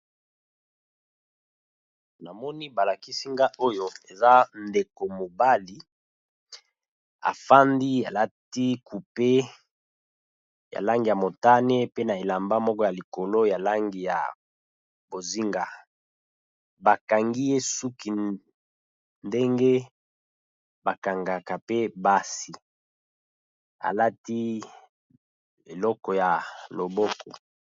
Na moni ba lakisi nga oyo eza ndeko mobali, a fandi a lati coupe ya langi ya motane pe na elamba moko ya likolo ya langi ya bozinga. Ba kangi ye suki ndenge ba kangaka pe basi a lati eloko ya loboko .